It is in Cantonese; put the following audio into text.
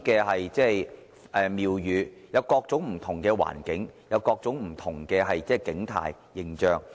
我們有各種不同的環境，有各種不同的景態。